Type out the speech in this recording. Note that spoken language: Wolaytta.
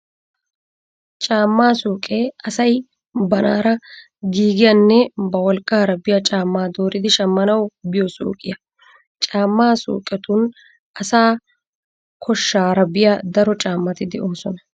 Caammaa suuqee asay banaara giigiyanne ba wolqqaara biya caammaa dooridi shammanawu biyo suuqiyaa. Caammaa suuqetun asaa koshshaara biya daro caammati de"oosona.